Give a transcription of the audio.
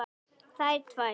Þær tvær.